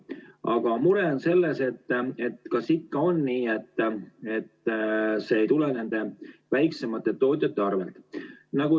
Aga mure on selles, kas see ikkagi ei tule väiksemate tootjate arvelt.